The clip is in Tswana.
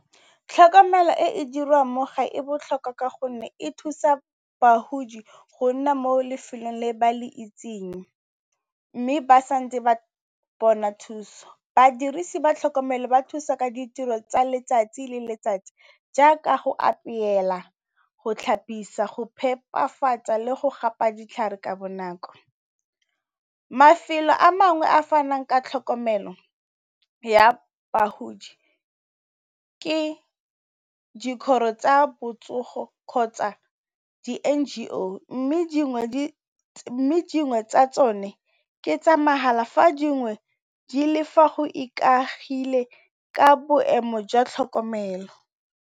Tlhokomelo e e dirwang mo gae e botlhokwa ka gonne e thusa bagodi go nna mo lefelong le ba le itseng, mme ba sa ntse ba bona thuso. Badirisi ba tlhokomelo ba thusa ka ditiro tsa letsatsi le letsatsi jaaka go apela, go tlhapisiwa, go phepafatsa le go gapa ditlhare ka bonako. Mafelo a mangwe a fanang ka tlhokomelo ya bagodi ke dikgoro tsa botsogo, kgotsa di NGO, mme dingwe tsa tsone ke tsa mahala fa dingwe di le fa go ikaegile ka boemo jwa tlhokomelo.